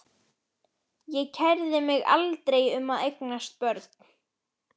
Ég kærði mig aldrei um að eignast börn.